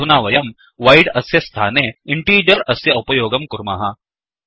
अधुना वयं voidवोइड् अस्य स्थाने इण्टीजर् अस्य उपयोगं कुर्मः